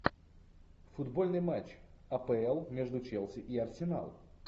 футбольный матч апл между челси и арсенал